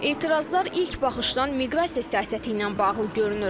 Etirazlar ilk baxışdan miqrasiya siyasəti ilə bağlı görünür.